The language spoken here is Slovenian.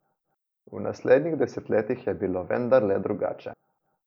V naslednjih desetletjih je bilo vendarle drugače.